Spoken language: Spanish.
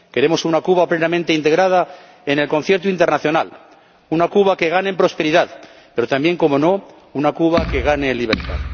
Queremos una Cuba plenamente integrada en el concierto internacional, una Cuba que gane en prosperidad, pero también, cómo no, una Cuba que gane en libertad.